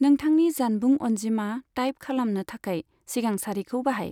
नोंथांनि जानबुं अनजिमा टाइप खालामनो थाखाय सिगां सारिखौ बाहाय।